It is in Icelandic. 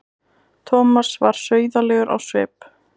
Thomas varð sauðalegur á svip.